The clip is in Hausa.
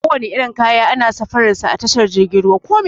Kowane irin kaya ana safarar sa a tashar jirgin ruwa.